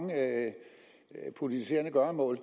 med politiserende gøremål